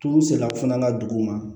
Tulu sera fana dugu ma